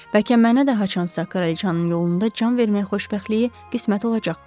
Bəlkə mənə də haçansa kraliçanın yolunda can vermək xoşbəxtliyi qismət olacaq.